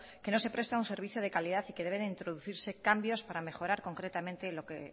que no se presta un servicio de calidad y que debe de introducirse cambios para mejorar concretamente lo que